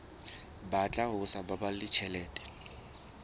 batla ho sa baballe tjhelete